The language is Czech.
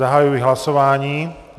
Zahajuji hlasování.